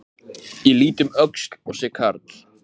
Ég lít um öxl og sé karl